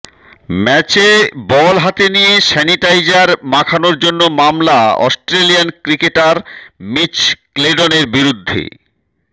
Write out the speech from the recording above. ম্যাচে বল হাতে নিয়ে স্যানিটাইজার মাখানোর জন্য মামলা অস্ট্রেলিয়ান ক্রিকেটার মিচ ক্লেডনের বিরুদ্ধে